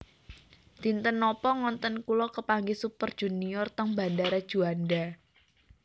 Dinten nopo ngonten kula kepanggih Super Junior teng bandara Juanda